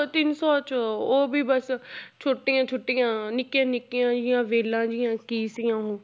ਤਿੰਨ ਸੌ 'ਚ ਉਹ ਵੀ ਬਸ ਛੋਟੀਆਂ ਛੋਟੀਆਂ ਨਿੱਕੀਆਂ ਨਿੱਕੀਆਂ ਜਿਹੀਆਂ ਵੇਲਾਂ ਜਿਹੀਆਂ ਕੀ ਸੀ ਉਹ